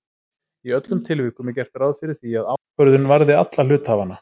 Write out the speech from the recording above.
Í öllum tilvikum er gert ráð fyrir því að ákvörðun varði alla hluthafana.